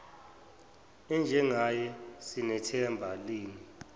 enjengaye sinathemba lini